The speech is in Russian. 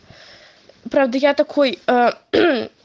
правда я такой ээ